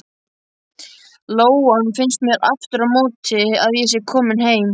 Lóan finnst mér aftur á móti að sé komin heim.